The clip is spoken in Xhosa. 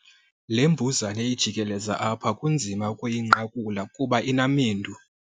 Le mbuzane ijikeleza apha kunzima ukuyinqakula kuba inamendu.